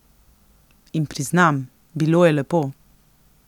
In priznam, bilo je lepo.